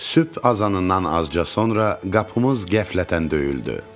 Sübh azanından azca sonra qapımız qəflətən döyüldü.